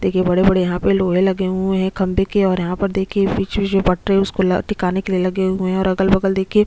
देखिए बड़े-बड़े यहाँ पे लोहे लगे हुए है खम्बे के और यहाँ पर देखिए बीच-बीच में पटरे उसको ल टिकाने के लिए लगे हुए है और अगल-बगल देखिए--